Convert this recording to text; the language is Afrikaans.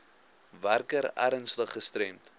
werker ernstig gestremd